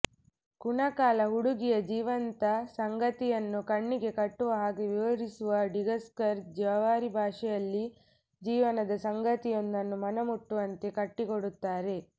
ಕುಣಕಾಲ ಹುಡುಗಿಯ ಜೀವಂತ ಸಂಗತಿಯನ್ನು ಕಣ್ಣಿಗೆ ಕಟ್ಟುವ ಹಾಗೆ ವಿವರಿಸುವ ಡಿಗಸ್ಕರ್ ಜವಾರಿ ಭಾಷೆಯಲ್ಲಿ ಜೀವನದ ಸಂಗತಿಯೊಂದನ್ನು ಮನಮುಟ್ಟುವಂತೆ ಕಟ್ಟಿಕೊಡುತ್ತಾರೆ